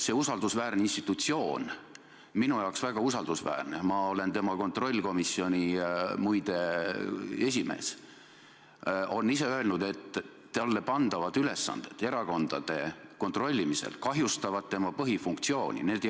See usaldusväärne institutsioon – minu jaoks väga usaldusväärne, ma olen muide riigieelarve kontrolli erikomisjoni esimees – on ise öelnud, et talle pandavad ülesanded erakondade kontrollimisel kahjustavad tema põhifunktsiooni täitmist.